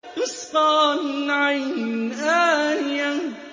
تُسْقَىٰ مِنْ عَيْنٍ آنِيَةٍ